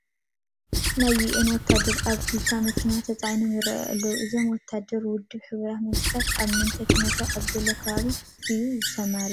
ናይ ዩኤን ወታደራት ኣብ ትዮታ መኪና ተፃዒኖም ይርአዩ ኣለዉ፡፡ እዞም ወታደራት ውድብ ሕቡራት መንግስታት ኣብ ምንታይ ኩነታት ኣብ ዘሎ ከባቢ እዮም ዝሰማረዉ?